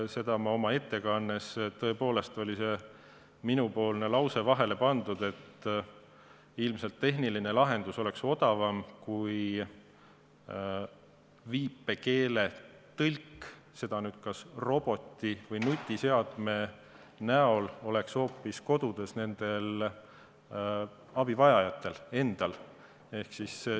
Seda ma oma ettekandes ütlesin – tõepoolest, see oli minu lause, mis oli mul vahele pandud –, et ilmselt tehniline lahendus oleks odavam kui viipekeeletõlk, nimelt kui robot või nutiseade oleks hoopis kodudes nendel abivajajatel endal.